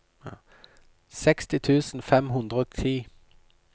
seksti tusen fem hundre og ti